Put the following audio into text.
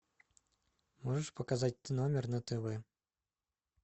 можешь показать т номер на тв